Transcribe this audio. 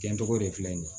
Cɛncogo de filɛ nin ye